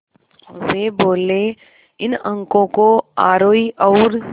वे बोले इन अंकों को आरोही और